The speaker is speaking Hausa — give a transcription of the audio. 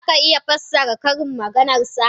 za ka iya fassara ƙarin maganar sa?